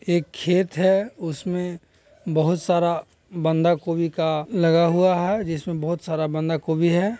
एक खेत है उसमें बहुत सारा बांदा कोबी का लगा हुआ है जिसमे बहोत सारा बांदा कोबी है।